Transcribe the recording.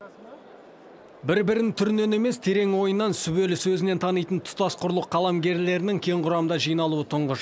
бір бірін түрінен емес терең ойынан сүбелі сөзінен танитын тұтас құрлық қаламгерлерінің кең құрамда жиналуы тұңғыш